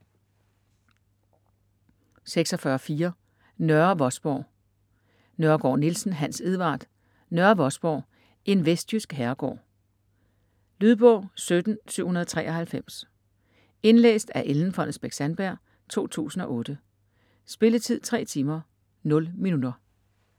46.4 Nørre Vosborg Nørregård-Nielsen, Hans Edvard: Nørre Vosborg: en vestjysk herregård Lydbog 17793 Indlæst af Ellen Fonnesbech-Sandberg, 2008. Spilletid: 3 timer, 0 minutter.